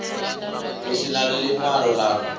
hu si na ḽiṅwalo ḽa